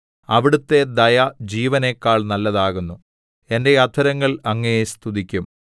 അവിടുത്തെ ദയ ജീവനെക്കാൾ നല്ലതാകുന്നു എന്റെ അധരങ്ങൾ അങ്ങയെ സ്തുതിക്കും